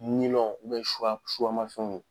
Nilɔn ma fɛnw ye.